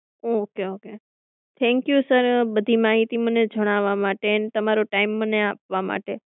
Okay okay thank you sir બધી માહિતી મને જણાવવા માટે તમારો ટાઈમ મને આપવા માટે.